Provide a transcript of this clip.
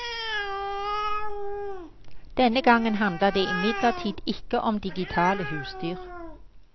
Denne gangen handler det imidlertid ikke om digitale husdyr.